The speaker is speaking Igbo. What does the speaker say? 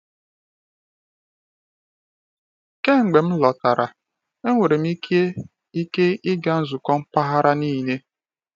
Kemgbe m lọtara, enwere m ike ike ịga nzukọ mpaghara niile.